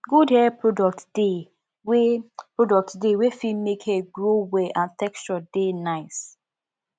good hair products de wey products de wey fit make hair grow well and texture de nice